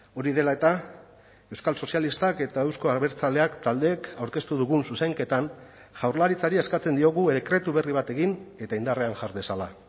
hori dela eta euskal sozialistak eta euzko abertzaleak taldeek aurkeztu dugun zuzenketan jaurlaritzari eskatzen diogu dekretu berri bat egin eta indarrean jar dezala